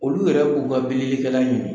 Olu yɛrɛ b'u ka bililikɛla ɲini!